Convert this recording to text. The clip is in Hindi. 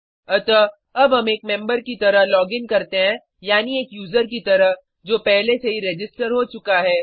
अतः अब हम एक मेम्बर की तरह लॉगिन करते हैं यानी एक यूज़र की तरह जो पहले से ही रजिस्टर हो चुका है